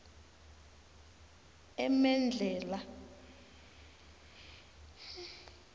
emedlhela